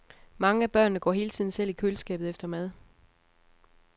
Mange af børnene går hele tiden selv i køleskabet efter mad.